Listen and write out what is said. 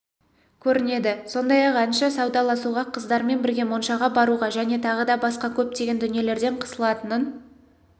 көрінеді сондай-ақ әнші саудаласуға қыздармен бірге моншаға баруға және тағы да басқа көптеген дүниелерден қысылатынын